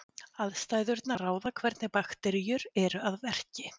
aðstæðurnar ráða hvernig bakteríur eru að verki